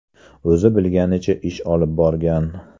O‘zi bilganicha ish olib borgan.